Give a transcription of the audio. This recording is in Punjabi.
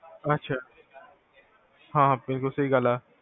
ਅਛਾ, ਹਾਂ ਹਾਂ ਬਿਲਕੁਲ ਸਹੀ ਗਲ ਆ